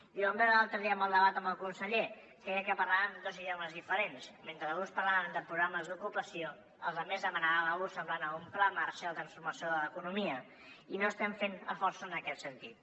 i ho vam veure l’altre dia amb el debat amb el conseller creia que parlàvem dos idiomes diferents mentre alguns parlaven de programes d’ocupació els altres demanaven una cosa semblant a un pla marshall de transformació de l’economia i no estem fent esforços en aquest sentit